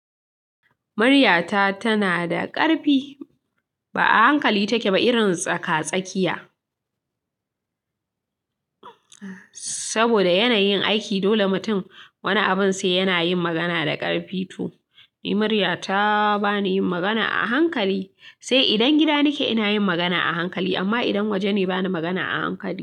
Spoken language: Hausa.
Muryata tana da ƙarfi, ba a hankali take ba irin tsaka-tsakiya. Saboda yanayin aiki dole mutum wani abun sai yana yin magana da ƙarfi to ni muryata bani yin magana a hankali. Sai idan gida nake ina yin magana a hankali amma idan waje ne bani yin magana a hankali.